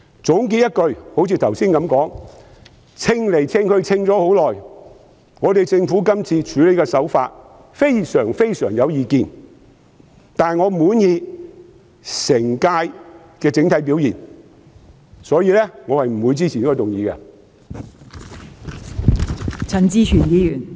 總結而言，正如我剛才所說，我衡量了很長時間，亦對政府這次的處理手法非常有意見，但我滿意本屆政府的整體表現，所以我不會支持這項議案。